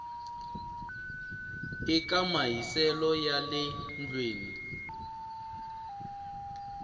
eka mahiselo ya le ndlwini